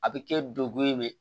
A bɛ kɛ dekun ye